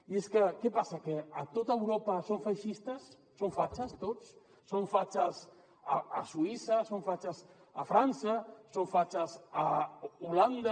i és que què passa que a tot europa són feixistes són fatxes tots són fatxes a suïssa són fatxes a frança són fatxes a holanda